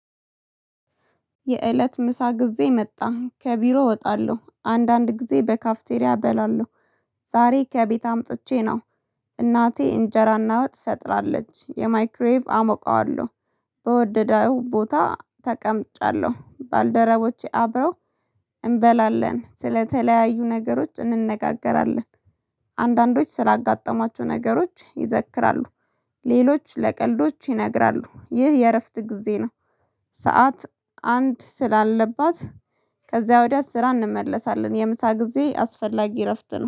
የእለት ምሳ ጊዜ መጣ ከቢሮ እወጣለሁ አንዳንድ ጊዜ በካፍቴሪያ እበላለሁ። ዛሬ ከቤት አምጥቼ ነው። እናቴ እንጀራና ወጥ ፈጥራለች የማይክሬቭ አሞቃለሁ። በወደደው ቦታ ተቀምጫለሁ። ባልደረቦቼ አብረው እንበላለን ስለተለያዩ ነገሮች እንነጋገራለን። አንዳንዶች ስላጋጠማቸው ነገሮች ይዘክራሉ። ሌሎች ለቀልዶች ይነግራሉ ይህ የእረፍት ጊዜ ነው። ሰዓት አንድ ስላለባት ከዚያ ወዲያ ስራ እንመለሳለን። የምሳ ጊዜ አስፈላጊ እረፍት ነው